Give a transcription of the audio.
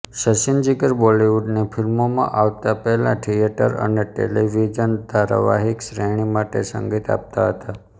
સચિનજીગર બોલિવુડની ફિલ્મોમાં આવતા પહેલા થિએટર અને ટેલિવિઝન ધારાવાહિક શ્રેણી માટે સંગીત આપતા હતા